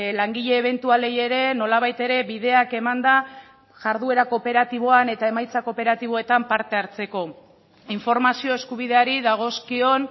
langile ebentualei ere nolabait ere bideak emanda jarduera kooperatiboan eta emaitza kooperatiboetan parte hartzeko informazio eskubideari dagozkion